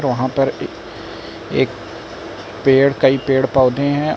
वहां पर ए एक पेड़ कई पेड़ पौधे है।